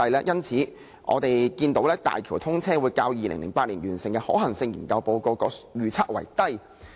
因此，我們可見，大橋車流量會較2008年完成的可行性研究報告的預測為低。